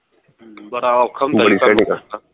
ਬੰਦਾ ਔਖਾ ਹੁੰਦਾ